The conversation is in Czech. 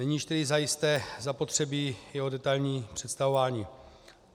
Není již tedy zajisté zapotřebí jeho detailní představování.